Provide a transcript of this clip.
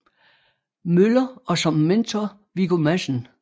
Møller og som mentor Viggo Madsen